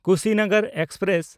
Kushinagar express